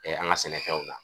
an ŋa sɛnɛfɛnw na